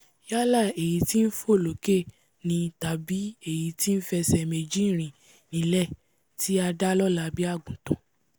yálà èyí tí nfò lókè ni tàbí èyí tí nfẹsẹ̀ méjì rìn nílẹ̀ tí a dá lọ́la bí àgùntàn